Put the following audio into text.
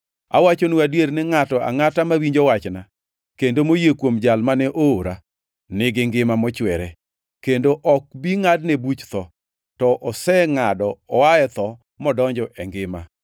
“Awachonu adier ni ngʼato angʼata mawinjo wachna, kendo moyie kuom Jal mane oora, nigi ngima mochwere, kendo ok bi ngʼadne buch tho; to osengʼado oa e tho modonjo e ngima.